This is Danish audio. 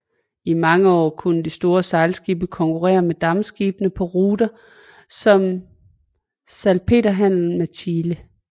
I mange år kunne de store sejlskibe konkurrere med dampskibe på ruter som salpeterhandlen med Chile